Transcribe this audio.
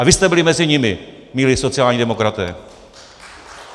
A vy jste byli mezi nimi, milí sociální demokraté!